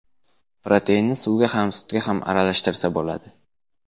Proteinni suvga ham, sutga ham aralashtirsa bo‘ladi.